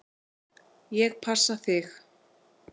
Ég passa þig.